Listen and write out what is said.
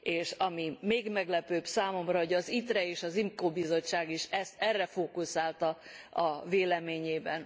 És ami még meglepőbb számomra, hogy az ITRE és az IMCO Bizottság is erre fókuszált a véleményében.